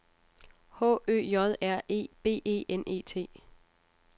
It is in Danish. H Ø J R E B E N E T